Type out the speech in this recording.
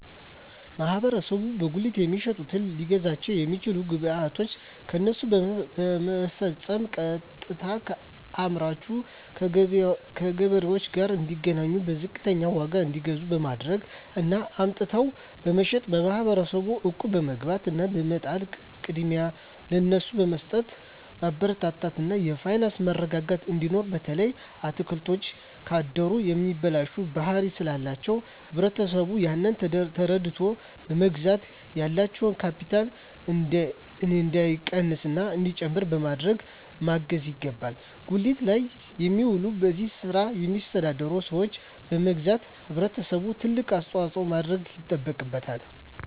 ማህበረሰቡ በጉሊት የሚሸጡትን ሊያግዛቸዉ የሚችለዉ ግብይቶችን ከነሱ በመፈፀም ቀጥታከአምራቹ ከገበሬዎቹ ጋር እንዲገናኙና በዝቅተኛ ዋጋ እንዲገዙ በማድረግ እና አምጥተዉ በመሸጥ ማህበረሰቡ እቁብ በመግባት እና በመጣል ቅድሚያ ለነሱ በመስጠትማበረታታት እና የፋይናንስ መረጋጋት እንዲኖር በተለይ አትክልቶች ካደሩ የመበላሸት ባህሪ ስላላቸዉ ህብረተሰቡ ያንን ተረድተዉ በመግዛት ያላቸዉ ካቢታል እንዳይቀንስና እንዲጨምር በማድረግ ማገዝ ይገባል ጉሊት ላይ የሚዉሉ በዚህ ስራ የሚተዳደሩ ሰዎችን በማገዝና ህብረተሰቡ ትልቅ አስተዋፅኦ ማድረግ ይጠበቅበታል